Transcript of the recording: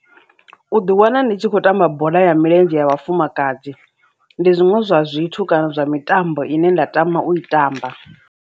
U ḓi wana ndi tshi khou tamba bola ya milenzhe ya vhafumakadzi ndi zwiṅwe zwa zwithu kana zwa mitambo ine nda tama u i tamba.